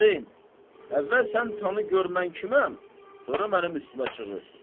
Hacı, əvvəl sən tanı gör mən kiməm, sonra mənim üstümə çığır.